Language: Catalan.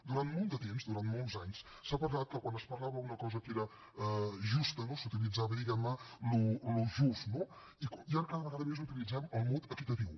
durant molt de temps durant molts anys s’ha parlat que quan es parlava d’una cosa que era justa no s’utilitzava diguem ne el just i ara cada vegada més utilitzem el mot equitatiu